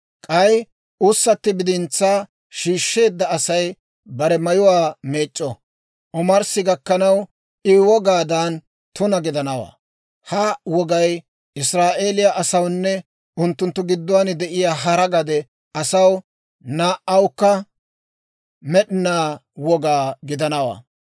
K'ay ussatti bidintsaa shiishsheedda Asay bare mayuwaa meec'c'o; omarssi gakkanaw I wogaadan tuna gidanawaa. Ha wogay Israa'eeliyaa asawunne unttunttu gidduwaan de'iyaa hara gade asaw laa''ookka med'inaa woga gidanawaa.